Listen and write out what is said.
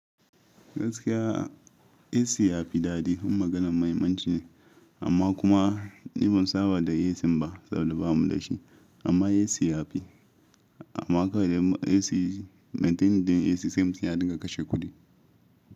Gaskiya AC ya fi daɗi. Dun maganan muhimmanci ne amma kuma ni ban saba da AC ba saboda ba mu da shi. Amma AC ya fi. Amma kawai dai AC maintaining din AC sai mutum ya dinga kashe kuɗi.